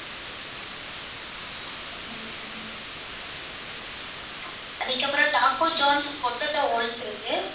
அதுக்கப்புறம் taco potato இருக்கு.